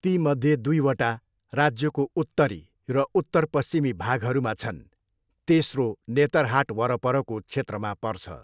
तीमध्ये दुईवटा राज्यको उत्तरी र उत्तर पश्चिमी भागहरूमा छन्, तेस्रो नेतरहाट वरपरको क्षेत्रमा पर्छ।